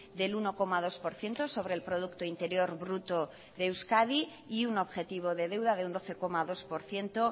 del uno coma dos por ciento sobre el producto interior bruto de euskadi y un objetivo de deuda de un doce coma dos por ciento